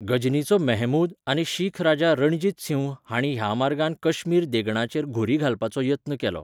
गझनीचो महमूद आनी शीख राजा रणजीत सिंह हांणीं ह्या मार्गान कश्मीर देगणाचेर घुरी घालपाचो यत्न केलो.